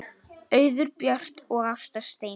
Auður Björt og Ásta Steina.